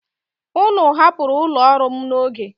Ụnụ hapụrụ ụlọ ọrụ m n'oge.